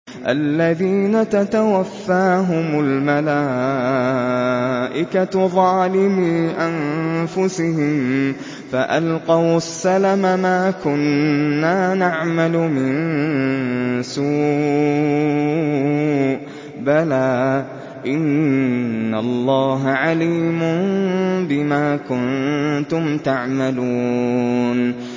الَّذِينَ تَتَوَفَّاهُمُ الْمَلَائِكَةُ ظَالِمِي أَنفُسِهِمْ ۖ فَأَلْقَوُا السَّلَمَ مَا كُنَّا نَعْمَلُ مِن سُوءٍ ۚ بَلَىٰ إِنَّ اللَّهَ عَلِيمٌ بِمَا كُنتُمْ تَعْمَلُونَ